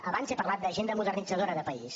abans he parlat d’agenda modernitzadora de país